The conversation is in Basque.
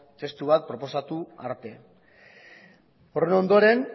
testu bat proposatu arte horren ondoren